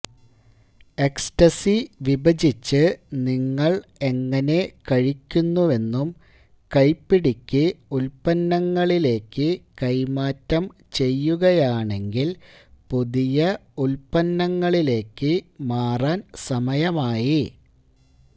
ecstasy വിഭജിച്ച് നിങ്ങൾ എങ്ങനെ കഴിക്കുന്നുവെന്നും കൈപ്പിടിക്ക് ഉൽപ്പന്നങ്ങളിലേക്ക് കൈമാറ്റം ചെയ്യുകയാണെങ്കിൽ പുതിയ ഉൽപ്പന്നങ്ങളിലേക്ക് മാറാൻ സമയമായി